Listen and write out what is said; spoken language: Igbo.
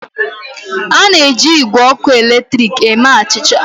A na-eji igwe ọkụ eletrik eme achịcha.